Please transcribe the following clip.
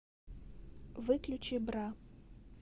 выключи бра